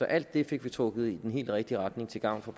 alt det fik vi trukket i den helt rigtige retning til gavn for